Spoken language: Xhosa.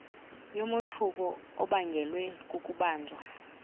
yomothuko obangelwe kukubanjwa